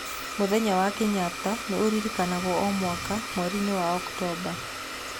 Mũthenya wa Kenyatta nĩ ũririkanagwo o mwaka mweriinĩ wa Oktomba.